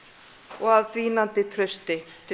og af dvínandi trausti til